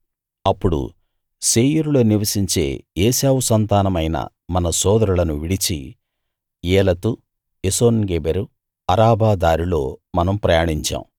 అప్పుడు శేయీరులో నివసించే ఏశావు సంతానమైన మన సోదరులను విడిచి ఏలతు ఎసోన్గెబెరు అరాబా దారిలో మనం ప్రయాణించాం